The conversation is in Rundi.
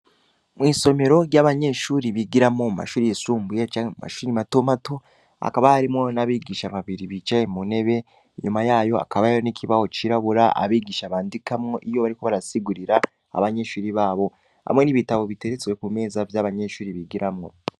Mwisomero ryabanyeshure bigiramwo, mumashure yisulbuye canke mumashure matomato, hakaba harimwo nabigisha babiri bicaye muntebe, inyuma yaho hakaba hari ikibaho cirabura, abigisha bandikamwo iyo bariko barasigurira abanyeshure babo, hamwe nibitabo biteretse abanyeshure bigiramwo.